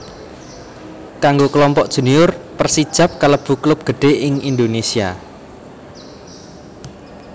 Kanggo Klompok Junior Persijap kalebu klub gedhé ing Indonésia